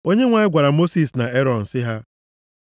Onyenwe anyị gwara Mosis na Erọn sị ha,